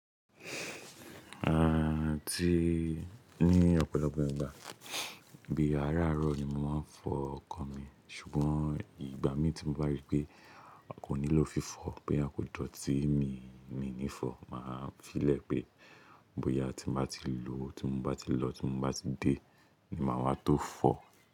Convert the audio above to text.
À tí ní ọ̀pọ̀lọpọ̀ ìgbà bí aráàárọ̀ ni mo máa ń fọ ọkọ̀ mi, ṣùgbọ́n ìgbà mí tí mo bá rí pé a kò nílò fífọ̀, bóyá kò dọ̀tí mí mí ní fọ̀, màá filẹ̀ pé bóyá tí m bá ti lò ó, tí m bá ti lọ, tí mo bá ti dé ni màá wá tó fọ̀